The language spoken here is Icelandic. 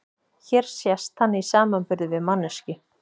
Hér sést hann í samanburði við manneskju.